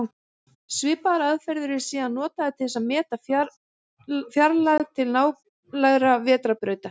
Svipaðar aðferðir eru síðan notaðar til að meta fjarlægð til nálægra vetrarbrauta.